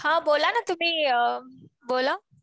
हा बोला ना तुम्ही बोला.